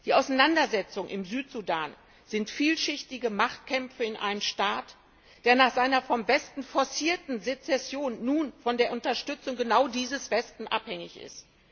Die Auseinandersetzungen im Südsudan sind vielschichtige Machtkämpfe in einem Staat, der nach seiner vom Westen forcierten Sezession nun von der Unterstützung genau dieses Westens abhängig ist.